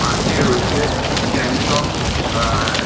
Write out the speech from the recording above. পাশে রয়েছে স্যামসাঙ আ--